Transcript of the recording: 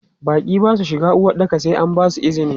Baƙi ba su shiga uwaɗɗaka sai an basu izini.